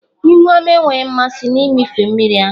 Ihu ọma enweghị mmasị na mmịfe mmiri ahụ.